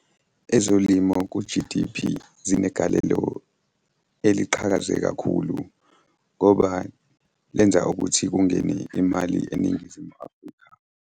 Ezolimo ku-G_D_P zinegalelo eliqhakaze kakhulu ngoba lenza ukuthi kungene imali eNingizimu Afrika.